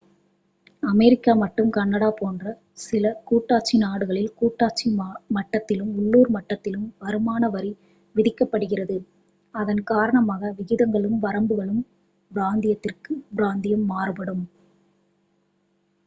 America மற்றும் Canada போன்ற சில கூட்டாட்சி நாடுகளில் கூட்டாட்சி மட்டத்திலும் உள்ளூர் மட்டத்திலும் வருமான வரி விதிக்கப்படுகிறது அதன் காரணமாக விகிதங்களும் வரம்புகளும் பிராந்தியத்திற்குப் பிராந்தியம் மாறுபடும்